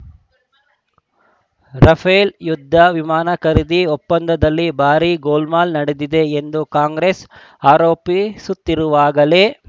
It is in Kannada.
ರಫೇಲ್‌ ಯುದ್ಧ ವಿಮಾನ ಖರೀದಿ ಒಪ್ಪಂದದಲ್ಲಿ ಭಾರಿ ಗೋಲ್‌ಮಾಲ್‌ ನಡೆದಿದೆ ಎಂದು ಕಾಂಗ್ರೆಸ್‌ ಆರೋಪಿಸುತ್ತಿರುವಾಗಲೇ